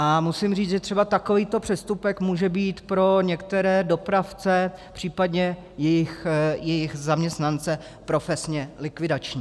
A musím říct, že třeba takovýto přestupek může být pro některé dopravce, případně jejich zaměstnance, profesně likvidační.